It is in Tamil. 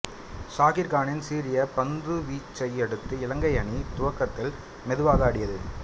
சாகிர் கானின் சீரிய பந்துவீச்சையடுத்து இலங்கை அணி துவக்கத்தில் மெதுவாக ஆடியது